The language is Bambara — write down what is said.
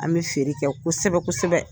An be feere kɛ kosɛbɛ kosɛbɛ.